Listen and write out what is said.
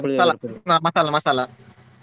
Masala masala .